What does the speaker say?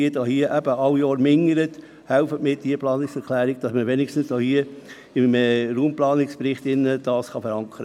Helfen Sie mit, diese Planungserklärung zu unterstützen, damit man dieses Anliegen wenigstens im Raumplanungsbericht verankern kann.